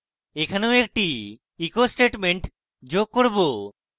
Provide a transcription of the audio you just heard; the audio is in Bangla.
এখানেও আমি একটি echo statement যোগ করব